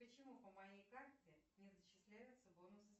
почему по моей карту не зачисляются бонусы